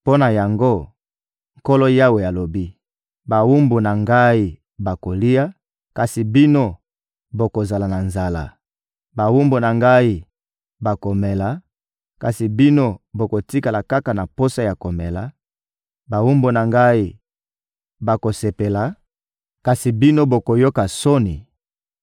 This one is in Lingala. Mpo na yango, Nkolo Yawe alobi: «Bawumbu na Ngai bakolia, kasi bino bokozala na nzala; bawumbu na Ngai bakomela, kasi bino bokotikala kaka na posa ya komela; bawumbu na Ngai bakosepela, kasi bino bokoyoka soni;